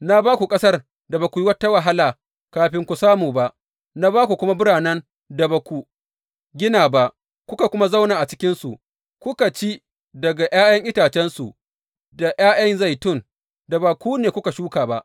Na ba ku ƙasar da ba ku yi wata wahala kafin ku samu ba, na ba ku kuma biranen da ba ku gina ba; kuka kuma zauna a cikinsu, kuka ci daga ’ya’yan itacensu da ’ya’yan zaitun da ba ku ne kuka shuka ba.’